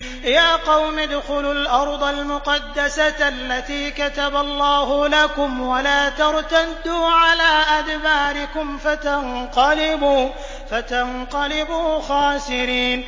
يَا قَوْمِ ادْخُلُوا الْأَرْضَ الْمُقَدَّسَةَ الَّتِي كَتَبَ اللَّهُ لَكُمْ وَلَا تَرْتَدُّوا عَلَىٰ أَدْبَارِكُمْ فَتَنقَلِبُوا خَاسِرِينَ